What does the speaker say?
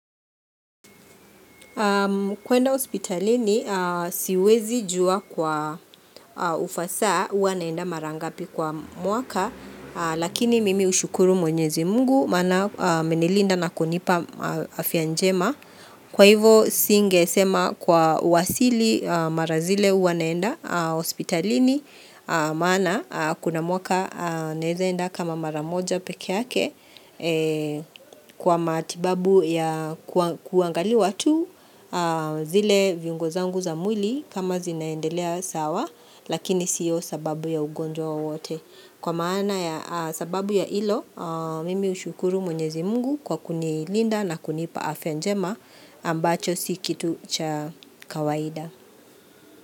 Kwenda hospitalini siwezi jua kwa ufasaa huwa naenda mara ngapi kwa mwaka lakini mimi ushukuru mwenyezi mungu mana amenilinda na kunipa afyanjema. Kwa hivo singesema kwa uwasili mara zile huwa naenda hospitalini maana kuna mwaka naeza enda kama maramoja pekeyake kwa matibabu ya kuangaliwa tu zile viungo zangu za mwili kama zinaendelea sawa lakini siyo sababu ya ugonjwa wowote. Kwa maana ya sababu ya hilo, mimi ushukuru mwenyezi mungu kwa kunilinda na kunipa afya njema ambacho sikitu cha kawaida.